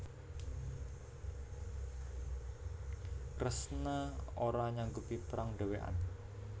Kresna ora nyanggupi perang dhewekan